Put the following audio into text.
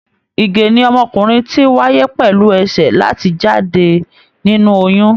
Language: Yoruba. Ìgè ni ọmọkùnrin ti wáyé pẹlú ẹsẹ láti jáde nínú oyún.